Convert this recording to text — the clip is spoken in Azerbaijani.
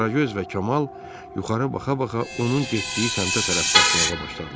Qaragöz və Kamal yuxarı baxa-baxa onun getdiyi səmtə tərəf qaçmağa başladılar.